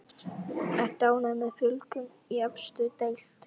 Ertu ánægð með fjölgun í efstu deild?